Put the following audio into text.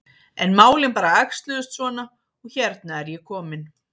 En málin bara æxluðust svona og hérna er ég komin.